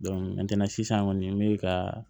sisan kɔni n be ka